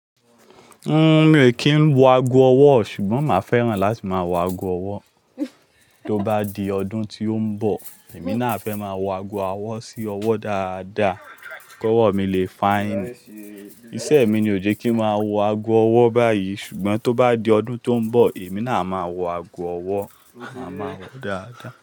Mi o ki n wo ago ọwọ ṣugbọn ma fẹ́ràn láti máa wo ago ọwọ. To bá di ọdún tó ń bọ̀, èmi náà fẹ́ máa wo ago ọwọ sí ọwọ dáadáa kí ọwọ mi le finee Isẹ mi ni, ò jẹ́ kí máa wo ago ọwọ báyìí ṣùgbọ́n tó bá di ọdún tó ń bọ̀, èmi náà máa wo ago ọwọ, màá mọ ó dáadáa.